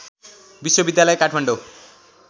विश्वविद्यालय काठमाडौँ